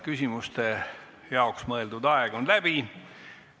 Küsimuste jaoks mõeldud aeg on läbi.